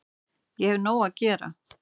Ég hef nóg að gera